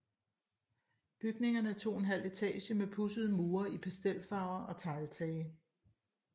Bygningerne er 2½ etage med pudsede mure i pastelfarver og tegltage